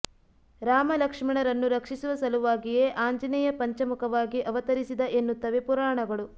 ರಾಮ ಲಕ್ಷ್ಮಣರನ್ನು ರಕ್ಷಿಸುವ ಸಲುವಾಗಿಯೇ ಆಂಜನೇಯ ಪಂಚಮುಖವಾಗಿ ಅವತರಿಸಿದ ಎನ್ನುತ್ತವೆ ಪುರಾಣಗಳು